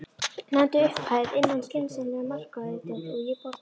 Nefndu upphæð, innan skynsamlegra marka auðvitað, og ég borga.